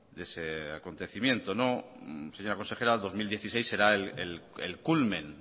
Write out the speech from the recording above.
de ese acontecimiento señora consejera dos mil dieciséis será el culmen